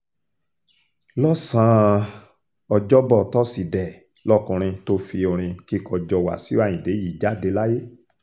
lọ́sàn-án ọjọ́bọ̀ tọ́sídẹ̀ẹ́ lọkùnrin tó fi orin kíkọ jọ wáṣíù ayíǹde yìí jáde láyé